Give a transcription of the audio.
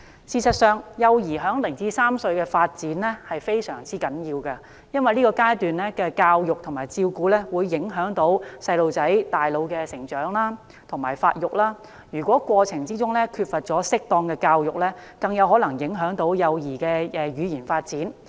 事實上，幼兒在0至3歲的發展非常重要，因為這階段的教育和照顧會影響到幼兒大腦的成長和發育，如果在成長過程中缺乏適當的教育，更有可能影響幼兒的語言發展。